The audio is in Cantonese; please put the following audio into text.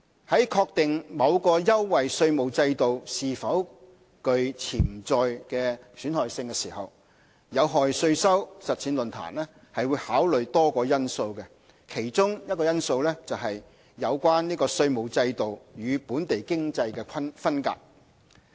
在確定某優惠稅務制度是否具潛在損害性時，有害稅收實踐論壇會考慮多個因素，其中一個因素是"有關稅務制度與本地經濟分隔"。